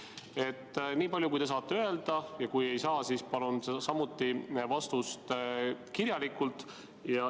Vastake, niipalju kui te saate öelda, ja kui ei saa, siis palun samuti vastust kirjalikult.